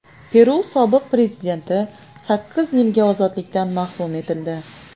Peru sobiq prezidenti sakkiz yilga ozodlikdan mahrum etildi.